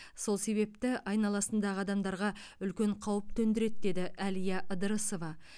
сол себепті айналасындағы адамдарға үлкен қауіп төндіреді деді әлия ыдырысова